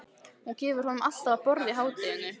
Hún gefur honum alltaf að borða í hádeginu.